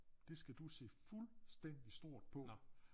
Det skal du se fuldstændig stort på